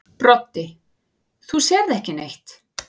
Broddi: Þú sérð ekki neitt.